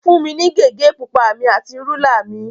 Fún mi ní gègé pupa mi àti rúlà mi.